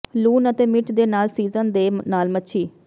ਲੂਣ ਅਤੇ ਮਿਰਚ ਦੇ ਨਾਲ ਸੀਜ਼ਨ ਦੇ ਨਾਲ ਮੱਛੀ